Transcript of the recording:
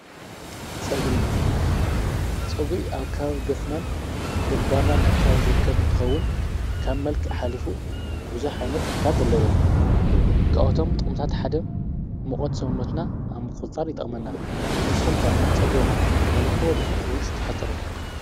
ጾጕሪ ኣብ ካብ ገጽናን ግምባርና ንኣካብ ዝርከብ እንተኸውን ካብ መልኪ ኃሊፉ ብዙኅ ኃይነት ጠምታት ኣለዎ ክኣቶም ጠምታት ሓደም መቖት ሰውኖትና ኣብ ምቝጻር ይጠመና ንስኹምከ ጸጕርኹም ተኑሕ ቦዲኹም ወይ ዝተሕጸር።